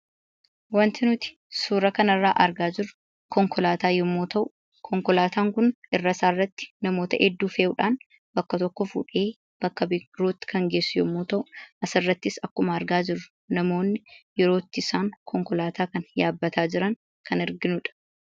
Wanti nuti suuraa kana irraa argaa jirru konkolaataa yemmuu ta'u, konkolaataan kun irra isaa irratti namoota hedduu fe'uudhaan bakka tokkoo fuudhee bakka birootti kan geessu yemmuu ta'u, asirrattis akkuma argaa jirru namootni yeroo itti isaan konkolaataa kana yaabbataa jiran kan arginuudha.